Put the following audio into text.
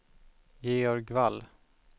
Georg Wall